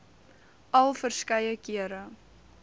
al verskeie kere